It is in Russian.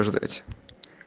ждать